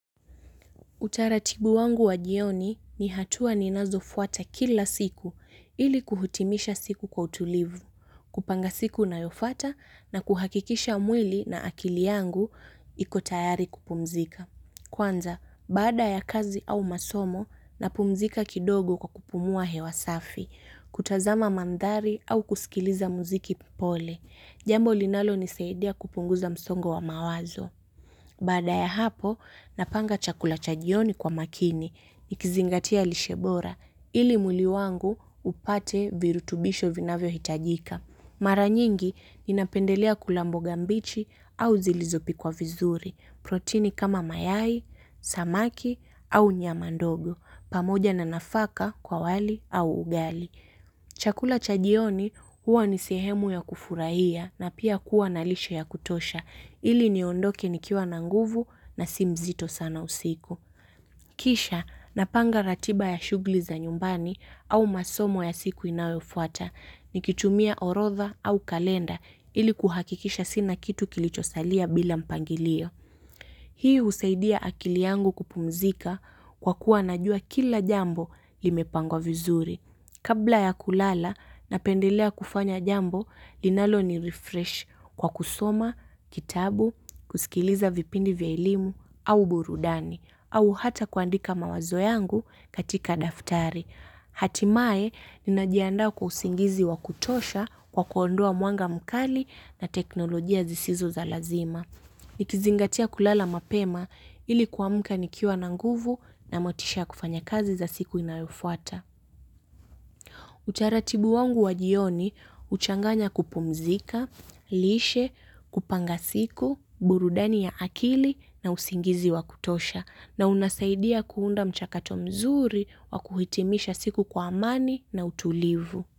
Utaratibu wangu wa jioni ni hatua ninazo fuata kila siku ili kuhutimisha siku kwa utulivu, kupanga siku na yofata na kuhakikisha mwili na akili yangu ikotayari kupumzika. Kwanza, bada ya kazi au masomo, napumzika kidogo kwa kupumua hewasafi, kutazama mandari au kusikiliza muziki pole. Jambo linalo nisaidia kupunguza msongo wa mawazo. Bada ya hapo, napanga chakula chajioni kwa makini, nikizingatia lishebora, ili muili wangu upate virutubisho vinavyo hitajika. Maranyingi, ninapendelea kula mboga mbichi au zilizopi kwa vizuri, protini kama mayai, samaki au nyamandogo, pamoja na nafaka kwa wali au ugali. Chakula chajioni huwa nisehemu ya kufurahia na pia kuwa nalishe ya kutosha ili niondoke nikiwa nanguvu na simzito sana usiku. Kisha napanga ratiba ya shugli za nyumbani au masomo ya siku inawofwata ni kitumia orotha au kalenda ili kuhakikisha sina kitu kilichosalia bila mpangilio. Hii husaidia akiliangu kupumzika kwa kuwa najua kila jambo limepangwa vizuri. Kabla ya kulala napendelea kufanya jambo, linalo ni refresh kwa kusoma, kitabu, kusikiliza vipindi vya elimu, au burudani, au hata kuandika mawazo yangu katika daftari. Hatimae, ninajiandaa kwa usingizi wakutosha kwa kuondoa muanga mkali na teknolojia zisizo za lazima. Nikizingatia kulala mapema ili kwamka nikiwa na nguvu na motisha kufanya kazi za siku inayofuata. Utaratibu wangu wa jioni, uchanganya kupumzika, lishe, kupanga siku, burudani ya akili na usingizi wa kutosha na unasaidia kuunda mchakato mzuri wa kuhitimisha siku kwa amani na utulivu.